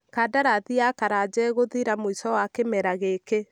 Kandarathi ya Karanja ĩgũthira mũico wa kimera gĩkĩ